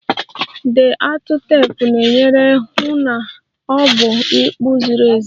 The atụ teepu na-enyere hụ na ọ bụla ịkpụ ziri ezi